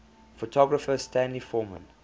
photographer stanley forman